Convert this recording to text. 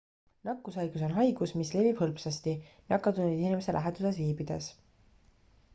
nakkushaigus on haigus mis levib hõlpsasti nakatunud inimese läheduses viibides